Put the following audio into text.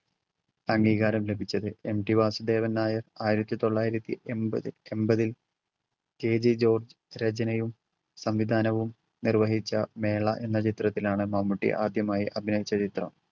അംഗീകാരം ലഭിച്ചത്. MT വാസുദേവൻ നായർ ആയിരത്തി തൊള്ളായിരത്തി എമ്പത്~ എമ്പതിൽ KG ജോർജ് രചനയും സംവിധാനവും നിർവഹിച്ച മേള എന്ന ചിത്രത്തിലാണ് മമ്മൂട്ടി ആദ്യമായി അഭിനയിച്ച ചിത്രം.